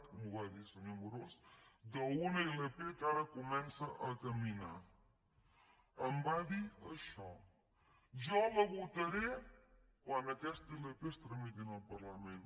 m’ho va dir senyor amorós d’una ilp que ara comença a caminar em va dir això jo la votaré quan aquesta ilp es tramiti en el parlament